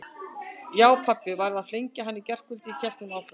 Já, pabbi varð að flengja hann í gærkvöldi hélt hún áfram.